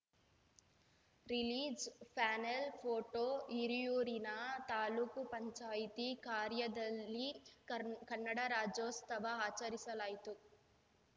ರಿಲೀಜ್‌ಪ್ಯಾನೆಲ್‌ photo ಹಿರಿಯೂರಿನ ತಾಲೂಕು ಪಂಚಾಯ್ತಿ ಕಾರ್ಯಾಲಯದಲ್ಲಿ ಕನ್ನಡ ರಾಜ್ಯೋಸ್ತವ ಆಚರಿಸಲಾಯಿತು